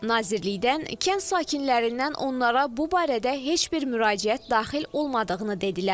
Nazirlikdən kənd sakinlərindən onlara bu barədə heç bir müraciət daxil olmadığını dedilər.